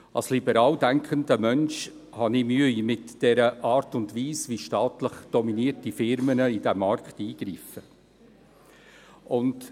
Als liberal denkender Mensch habe ich Mühe mit der Art und Weise, wie staatlich dominierte Firmen in den Markt eingreifen.